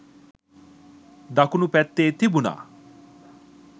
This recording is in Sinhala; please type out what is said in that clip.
දකුණු පැත්තේ තිබුණා..